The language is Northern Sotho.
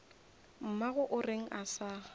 mmago o reng a sa